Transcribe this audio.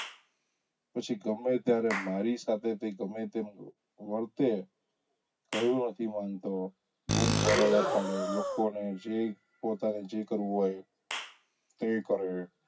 પછી ગમે ત્યારે તે મારી સાથે ગમે તેમ વર્તે, કહ્યું નથી માનતો, બુમ -બરાડા પાડે લોકોને જે પોતાને જે કરવું હોય તે કરે,